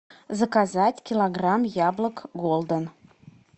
заказать килограмм яблок голден